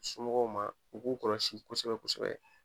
Somɔgɔw ma u k'u kɔlɔsi kosɛbɛ kosɛbɛ